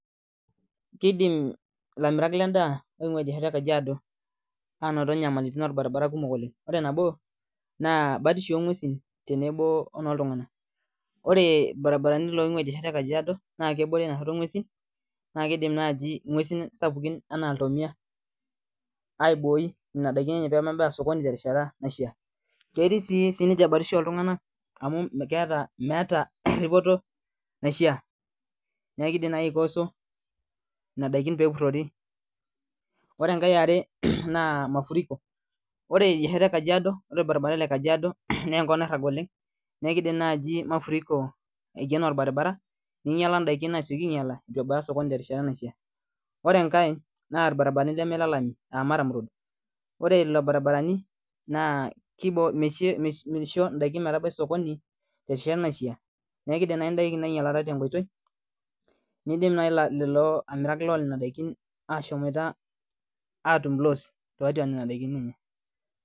Kidim elamita ledaa aingua edia shoto ee Kajiado anoto nyamalitin orbaribara kumok oleng ore nabo naa batisho anguesi onoo iltung'ana ore baribarani oing'ua edia shoto ee Kajiado naa kebore enoashoto enguesi nakidim najii ng'uesi sapukin enaa ilntomia aiboi pee mebeya sokoni terishata naishaa ketii sii ninche batisho oltung'ani amu meeta eripoto naishaa neeku kidim najii aikoso Nena daikin pee epurori ore enkae yare naa mafuriko ore edia shoto ee Kajiado na enkop nairag oleng neeku kidim naaji mafuriko aikeno orbaribara ninyiala daiki nasioki aruoyo aitu ebaya sokoni tenkata naishaa oree enkae naa baribarani leme lee laini aa murram roads ore lelo baribarani[csm]naa misho edaiki metabai sokoni terishata naishaa neeku kidim naaji ndaiki ainyialata tee nkoitoi nidim naaji lelo amirak loo daiki atum lose tiatua daiki enye